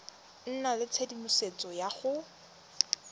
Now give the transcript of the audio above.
nna le tshedimosetso ya go